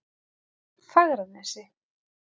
Fagranesi